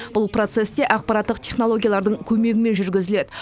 бұл процесс те ақпараттық технологиялардың көмегімен жүргізіледі